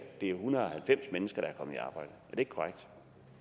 en hundrede og halvfems mennesker der er kommet